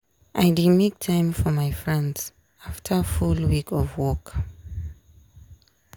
i dey make time for my friends after full week of work.